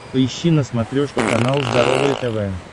поищи на смотрешке канал здоровое тв